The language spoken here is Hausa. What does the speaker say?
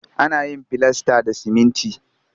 Ana yin filasta da siminti